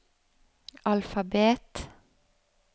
alfabet